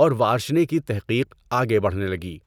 اور وارشنے کی تحقیق آگے بڑھنے لگی۔